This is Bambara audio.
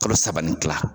Kalo saba ni kila